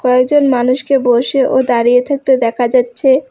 কয়েকজন মানুষকে বসে ও দাঁড়িয়ে থাকতে দেখা যাচ্ছে।